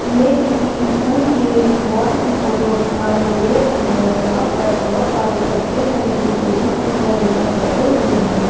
ये किसी स्कूल के हॉल की फोटो दिखाई दे रही है जहां पर बहोत सारे लड़के हैं जो टेबल कुर्सियां लेकर बैठे हुए हैं।